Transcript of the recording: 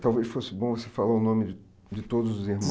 Talvez fosse bom você falar o nome de de todos os irmãos.